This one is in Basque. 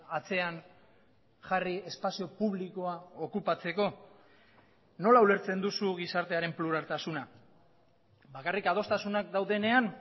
atzean jarri espazio publikoa okupatzeko nola ulertzen duzu gizartearen pluraltasuna bakarrik adostasunak daudenean